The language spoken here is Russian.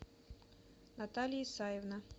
наталья исаевна